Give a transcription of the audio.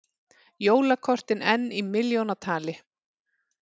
Jólakortin enn í milljónatali